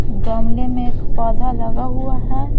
गमले में एक पौधा लगा हुआ है।